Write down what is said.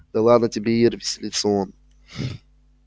да ладно тебе ир веселится он